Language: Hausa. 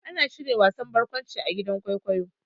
Ana shirya wasan barƙwanci a gidan kwaikwayo.